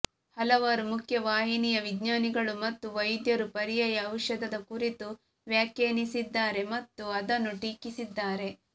ಹಲವಾರು ಮುಖ್ಯವಾಹಿನಿಯ ವಿಜ್ಞಾನಿಗಳು ಮತ್ತು ವೈದ್ಯರು ಪರ್ಯಾಯ ಔಷಧದ ಕುರಿತು ವ್ಯಾಖ್ಯಾನಿಸಿದ್ದಾರೆ ಮತ್ತು ಅದನ್ನು ಟೀಕಿಸಿದ್ದಾರೆ